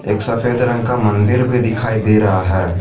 एक सफेद रंग का मंदिर भी दिखाई दे रहा है।